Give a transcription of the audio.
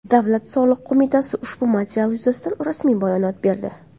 Davlat soliq qo‘mitasi ushbu material yuzasidan rasmiy bayonot berdi .